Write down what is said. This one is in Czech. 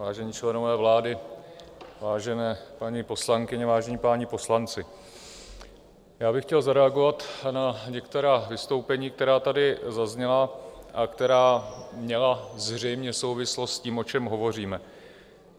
Vážení členové vlády, vážené paní poslankyně, vážení páni poslanci, já bych chtěl zareagovat na některá vystoupení, která tady zazněla a která měla zřejmě souvislost s tím, o čem hovoříme.